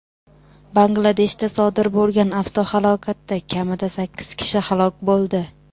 Bangladeshda sodir bo‘lgan avtohalokatda kamida sakkiz kishi halok bo‘ldi.